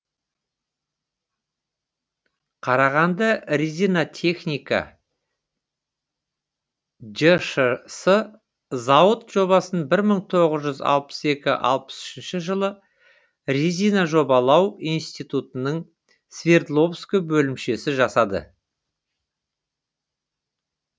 қарағандырезинатехника жшс зауыт жобасын бір мың тоғыз жүз алпыс екі алпыс үш жылы резинажобалау институтының свердловск бөлімшесі жасады